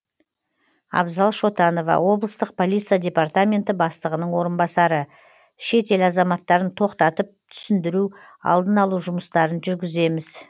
абзал шотанова облыстық полиция департаменті бастығының орынбасары шет ел азаматтарын тоқтатып түсіндіру алдын алу жұмыстарын жүргіземіз